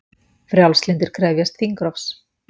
Frjálslyndir krefjast þingrofs